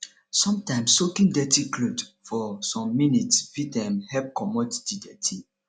sometimes soaking dirty cloth for some minutes fit um help comot di dirty